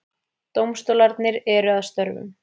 Dómstólarnir eru að störfum